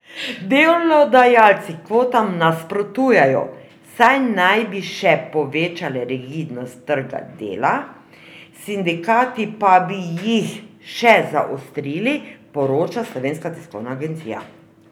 Delodajalci kvotam nasprotujejo, saj naj bi še povečale rigidnost trga dela, sindikati pa bi jih še zaostrili, poroča Slovenska tiskovna agencija.